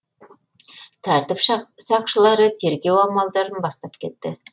тәртіп сақшылары тергеу амалдарын бастап кетті